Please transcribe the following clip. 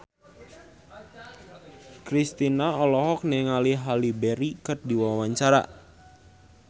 Kristina olohok ningali Halle Berry keur diwawancara